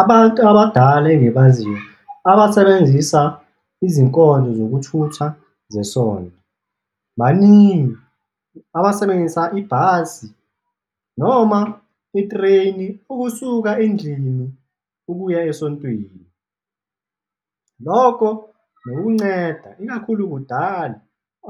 Abantu abadala engibaziyo abasebenzisa izinkonzo zokuthutha zesonto baningi abasebenzisa ibhasi noma i-train-i ukusuka endlini ukuya esontweni, loko nokukunceda, ikakhulu kudala,